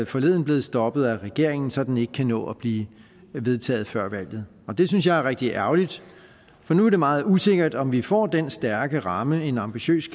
forleden blevet stoppet af regeringen så den ikke kan nå at blive vedtaget før valget og det synes jeg er rigtig ærgerligt for nu er det meget usikkert om vi får den stærke ramme en ambitiøs